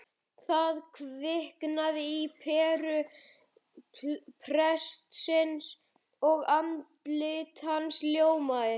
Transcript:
Það kviknar á peru prestsins og andlit hans ljómar